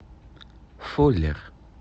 фуллер